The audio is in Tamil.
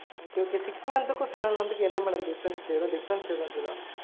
okay okay six month க்கும் seven month க்கும் என்ன madam difference ஏதும் difference ஏதும் இருக்குதா?